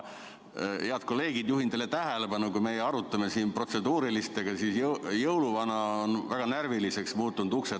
Head kolleegid, juhin teie tähelepanu, et meie arutame siin protseduurilisi küsimusi, aga jõuluvana on ukse taga väga närviliseks muutunud.